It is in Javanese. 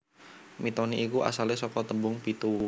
Mitoni iku asalé saka tembung pitu